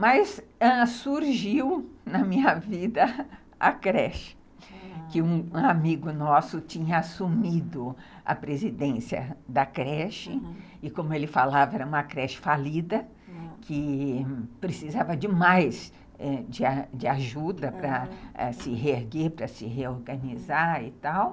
Mas, ãh, surgiu na minha vida a creche, aham, que um amigo nosso tinha assumido a presidência da creche, e como ele falava, era uma creche falida, que precisava demais de de ajuda, para se reerguer, para se reorganizar e tal.